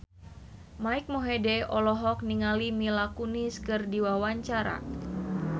Mike Mohede olohok ningali Mila Kunis keur diwawancara